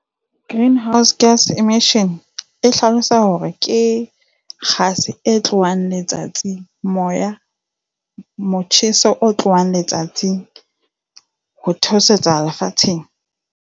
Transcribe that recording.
Greenhouse gas emission e hlalosa hore ke kgase e tlohang letsatsing, moya, motjheso o tlohang letsatsi ho theosetsa lefatsheng.